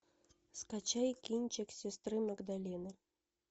скачай кинчик сестры магдалины